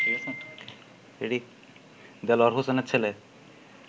দেলোয়ার হোসেনের ছেলে